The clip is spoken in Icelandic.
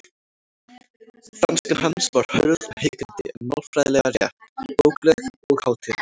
Franskan hans var hörð og hikandi en málfræðilega rétt, bókleg og hátíðleg.